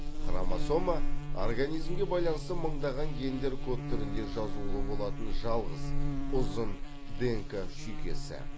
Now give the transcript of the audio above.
хромосома организмге байланысты мыңдаған гендер код түрінде жазулы болатын жалғыз ұзын днк шүйкесі